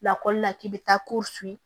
Lakɔlila k'i bɛ taa ko fu ye